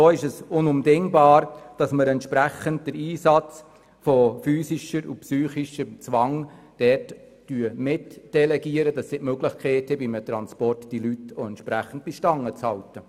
So ist es unabdingbar, dass wir dementsprechend den Einsatz von physischem und psychischem Zwang, dort mitdelegieren, damit sie bei einem Transport auch die Möglichkeit haben, die Leute entsprechend bei der Stange zu halten.